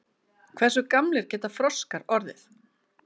Hversu gamlir geta froskar orðið?